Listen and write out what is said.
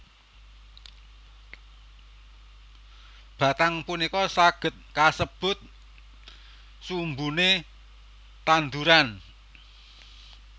Batang punika saged kasebut sumbune tanduran